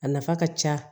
A nafa ka ca